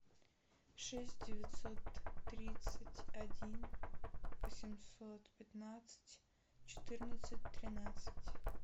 шесть девятьсот тридцать один восемьсот пятнадцать четырнадцать тринадцать